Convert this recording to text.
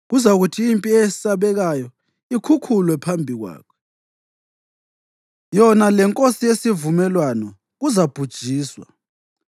Kuzakuthi impi eyesabekayo ikhukhulwe phambi kwakhe; yona lenkosi yesivumelwano kuzabhujiswa.